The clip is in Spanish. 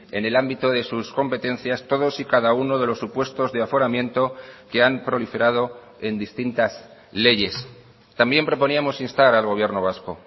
en el ámbito de sus competencias todos y cada uno de los supuestos de aforamiento que han proliferado en distintas leyes también proponíamos instar al gobierno vasco